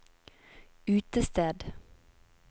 utested